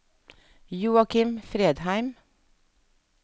Joakim Fredheim